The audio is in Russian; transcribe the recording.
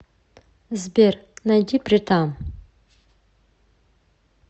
сбер найди притам